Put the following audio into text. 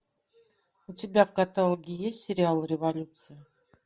у тебя в каталоге есть сериал революция